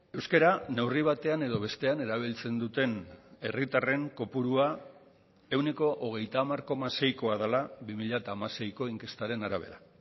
euskara neurri batean edo bestean erabiltzen duten herritarren kopurua ehuneko hogeita hamar koma seikoa dela bi mila hamaseiko inkestaren arabera